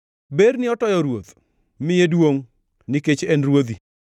Berni otoyo ruoth; miye duongʼ, nikech en ruodhi.